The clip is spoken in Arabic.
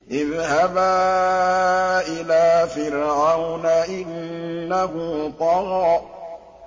اذْهَبَا إِلَىٰ فِرْعَوْنَ إِنَّهُ طَغَىٰ